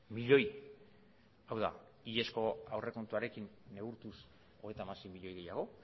milioi hau da hilezko aurrekontuarekin neurtuz hogeita hamasei milioi gehiago